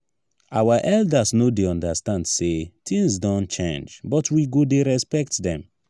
our elders no dey understand sey tins don change but we go dey respect dem.